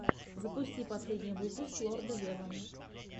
последний эпизод зепаверс ссри саузенд